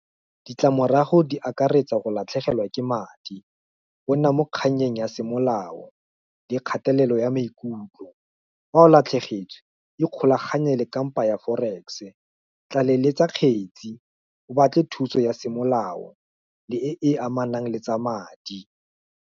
Ditlamorago di akaretsa go latlhegelwa ke madi, go nna mo kganyeng ya semolao, le kgatelelo ya maikutlo, fa o latlhegetswe, ikgolaganye le kampa ya forex-e, tlaleletsa kgetsi, o batle thuso ya semolao, le e, e amanang le tsa madi.